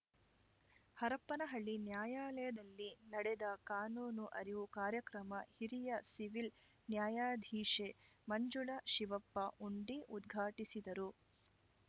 ಹರಪನಹಳ್ಳಿ ನ್ಯಾಯಾಲಯದಲ್ಲಿ ನಡೆದ ಕಾನೂನು ಅರಿವು ಕಾರ್ಯಕ್ರಮ ಹಿರಿಯ ಸಿವಿಲ್‌ ನ್ಯಾಯಾಧೀಶೆ ಮಂಜುಳಾ ಶಿವಪ್ಪ ಉಂಡಿ ಉದ್ಘಾಟಿಸಿದರು